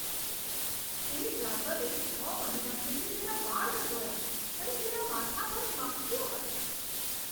તે ડ્રાઈવરે છ મહિના સુધી તેના વાળ ન ધોયા અને તેના માથા પર માખીઓ હતી.